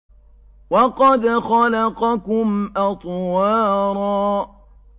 وَقَدْ خَلَقَكُمْ أَطْوَارًا